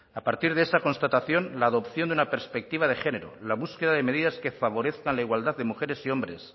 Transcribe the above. a partir de esa constatación la adopción de una perspectiva de género la búsqueda de medidas que favorezcan la igualdad de mujeres y hombres